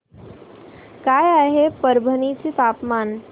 काय आहे परभणी चे तापमान